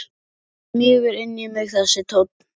Og hann smýgur inn í mig þessi tónn.